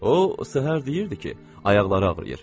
O səhər deyirdi ki, ayaqları ağrıyır.